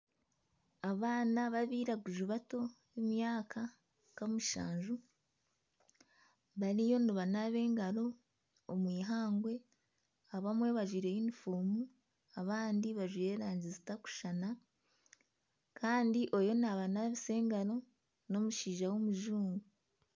Abaana babairaguju bato b'emyaka nka mushanju bariyo nibanaaba engaro omu eihangwe abamwe bajwaire yunifoomu abandi bajwaire erangi zitarikushushana. Kandi oriyo nabanaabisa engaro n'omushaija w'omujungu.